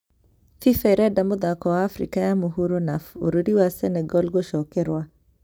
FIFA ĩrenda mũthako wa Afrika ya mũhuro na bũrũri wa Senegal gũcokerwa